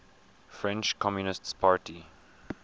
french communist party